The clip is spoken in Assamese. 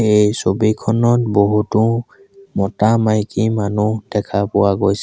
এই ছবিখনত বহুতো মতা-মাইকী মানুহ দেখা পোৱা গৈছে।